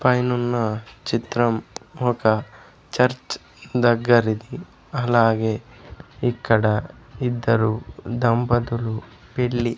పైనున్న చిత్రం ఒక చర్చ్ దగ్గరిది అలాగే ఇక్కడ ఇద్దరు దంపతులు పెళ్లి--